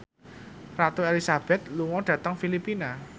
Ratu Elizabeth lunga dhateng Filipina